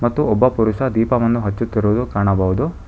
ಒಬ್ಬ ಪುರುಷ ದೀಪವನ್ನು ಹಚ್ಚುತ್ತಿರುವುದು ಕಾಣಬಹುದು.